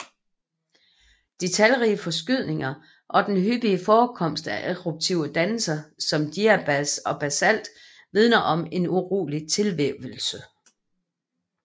De talrige forskydninger og den hyppige forekomst af eruptive dannelser som diabas og basalt vidner om en urolig tilvævelse